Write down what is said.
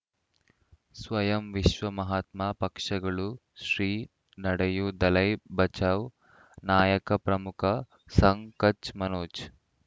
ಸ್ವಯಂ ವಿಶ್ವ ಮಹಾತ್ಮ ಪಕ್ಷಗಳು ಶ್ರೀ ನಡೆಯೂ ದಲೈ ಬಚೌ ನಾಯಕ ಪ್ರಮುಖ ಸಂಘ ಕಚ್ ಮನೋಜ್